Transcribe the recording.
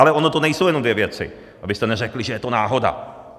Ale ony to nejsou jenom dvě věci, abyste neřekli, že je to náhoda.